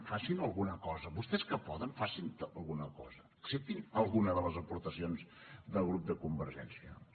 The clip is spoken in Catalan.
facin alguna cosa vostès que poden facin alguna cosa acceptin alguna de les aportacions del grup de convergència i unió